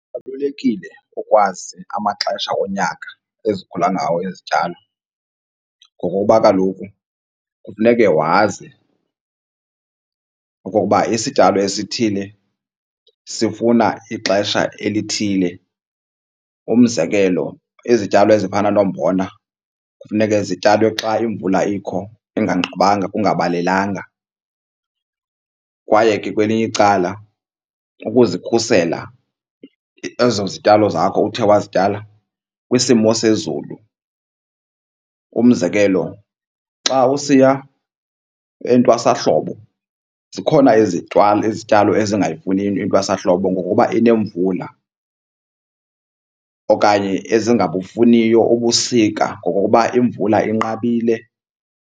Kubalulekile ukwazi amaxesha onyaka ezikhula ngawo izityalo ngokokuba kaloku kufuneke wazi ukuba isityalo esithile sifuna ixesha elithile. Umzekelo, izityalo ezifana nombona kufuneke zityalwe xa imvula ikho inganqabanga kungabalelanga. Kwaye ke kwelinye icala ukuzikhusela ezo zityalo zakho uthe wazityala kwisimo sezulu. Umzekelo, xa usiya entwasahlobo zikhona izityalo ezingayifuniyo intwasahlobo ngokokuba inemvula okanye ezingabufuniyo ubusika ngokokuba imvula inqabile.